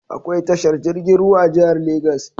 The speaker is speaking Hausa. Akwai tashar jiragen ruwa a jihar lagos.